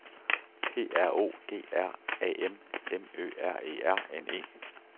P R O G R A M M Ø R E R N E